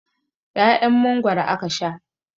'Ya'yan Mangwaro ake sha.